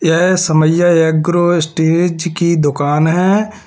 यह Samaiya agro stage की दुकान है।